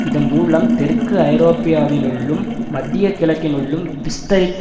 இதன் மூலம் தெற்கு ஐரோப்பியாவினுள்ளும் மத்திய கிழக்கினுள்ளும் விஸ்தரிப்பு